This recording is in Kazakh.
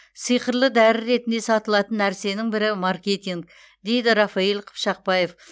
сиқырлы дәрі ретінде сатылатын нәрсенің бірі маркетинг дейді рафаиль қыпшақбаев